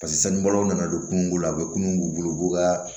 Paseke sanubɔlaw nana don kungo la u bɛ kunun u bolo u b'u ka